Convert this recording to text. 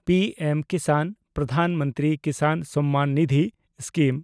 P ᱮᱢ-ᱠᱤᱥᱟᱱ (Pradhan Mantri Kisan Samman Nidhi) scheme